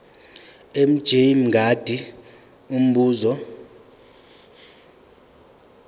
mj mngadi umbuzo